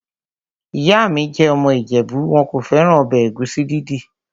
Ìyá mi jẹ́ ọmọ ìjẹ̀bú. Wọn kò fẹ́ràn ọbẹ̀ ẹ̀gúsí dídì.